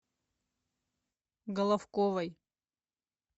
головковой